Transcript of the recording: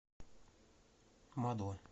мадо